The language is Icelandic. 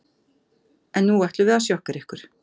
En nú ætlum við að sjokkera ykkur.